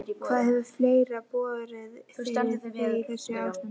Hvað hefur fleira borið fyrir þig í þessu ástandi?